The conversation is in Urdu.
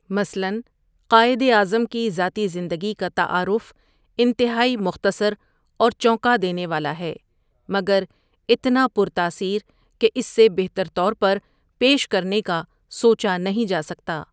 مثلاً قائداعظم کی ذاتی زندگی کا تعارف انتہائی مختصر اور چونکا دینے والا ہے مگر اتنا پر تاثیر کہ اس سے بہتر طور پر پیش کرنے کا سوچا نہیں جا سکتا۔